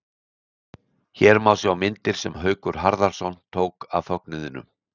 Hér má sjá myndir sem Haukur Harðarson tók af fögnuðinum.